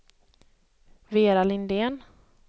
Vera Lindén